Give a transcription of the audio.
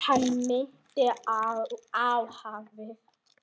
Hann minnti á hafið.